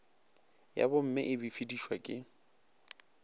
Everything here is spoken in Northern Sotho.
ya bomme e befedišwa ke